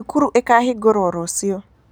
Thukuru ikahingũrwo rũciũ.